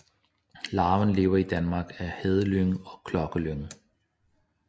Larven lever i Danmark af hedelyng og klokkelyng